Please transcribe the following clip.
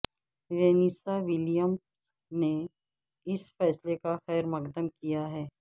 Vanessa Williams نے اس فیصلے کا خیر مقدم کیا ہے